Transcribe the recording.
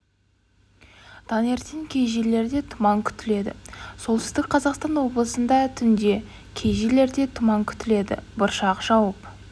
таңертең кей жерлерде тұман күтіледі солтүстік қазақстан облысында түнде кей жерлерде тұман күтіледі бұршақ жауып